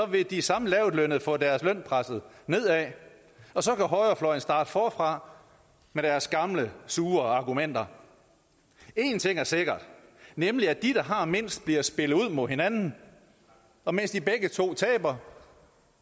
vil de samme lavtlønnede få deres løn presset og så kan højrefløjen starte forfra med deres gamle sure argumenter en ting er sikker nemlig at de der har mindst bliver spillet ud mod hinanden og mens de begge to taber